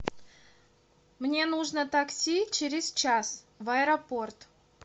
мне нужно такси через час в аэропорт